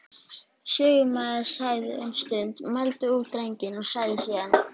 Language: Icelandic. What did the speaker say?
Lögmaður þagði um stund, mældi út drenginn, sagði síðan